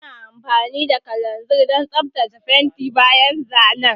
Ana amfani da kalanzir don tsaftace fenti bayan zanen.